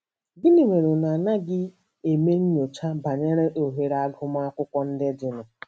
Gịnị mere unu anaghị eme nnyocha banyere ohere agụmakwụkwọ ndị dịnụ?